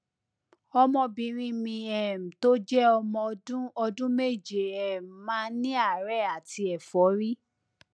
ọmọbìnrin mi um tó jẹ ọmọ ọdún ọdún méje um máa ń ní àárẹ àti ẹfọrí